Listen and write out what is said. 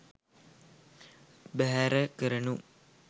බැහැර කරනු